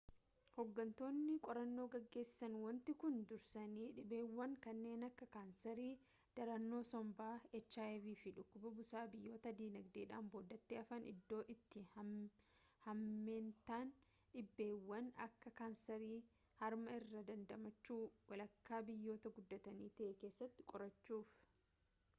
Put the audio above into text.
hooggantoonni qorannoo geggeessan wanti kun dursanii dhibeewwan kanneen akka kaanseeri, darannoo sombaa hiv fi dhukkuba busaa biyyoota dinagdeedhaan boodatti hafan iddoo itti hammeentaan dhibeewwan akka kaanseerii harmaairraa dandamachuu walakkaa biyyoota guddatanii ta’e keessatti qorachuuf